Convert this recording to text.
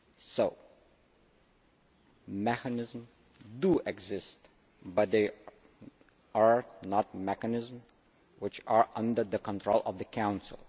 So mechanisms do exist, but they are not mechanisms which are under the control of the Council.